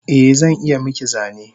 Eh zan iya miki zane